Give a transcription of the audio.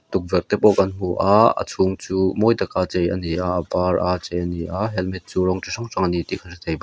tukverh te pawh kan hmu a a chhung chu mawi taka chei ani a a var a chei ania helmet chu rawng chi hrang hrang ani tih ka hrethei baw--